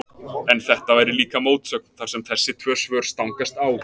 En þetta væri líka mótsögn, þar sem þessi tvö svör stangast á.